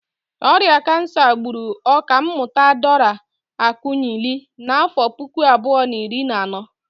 Ọrịa kansa gburu Ọkammụta Dora Akunyili n'afọ puku abụọ na iri na anọ.